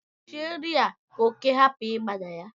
Kpuchie nri a ka oke hapụ ịba na ya